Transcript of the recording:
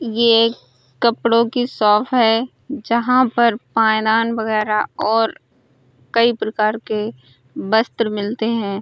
ये एक कपड़ों की शॉप है जहां पर पायदान वगैरा और कई प्रकार के वस्त्र मिलते हैं।